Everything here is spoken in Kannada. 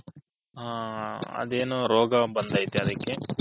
ಹ ಅದೇನೋ ರೋಗ ಬಂದೈತೆ ಅದಿಕ್ಕೆ